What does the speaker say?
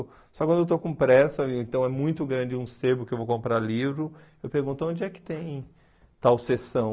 Só quando eu estou com pressa, então é muito grande um sebo que eu vou comprar livro, eu pergunto onde é que tem tal sessão.